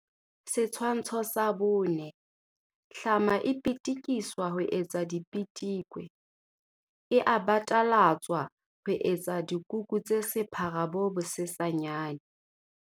Setshwantsho sa 4. Hlama e pitikiswa ho etsa dipitikwe. e a batalatswa ho etsa dikuku tse sephara bo bosesanyane.